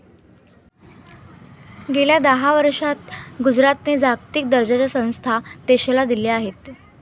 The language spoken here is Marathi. गेल्या दहा वर्षात गुजरातने जागतिक दर्जाच्या संस्था देशाला दिल्या आहेत.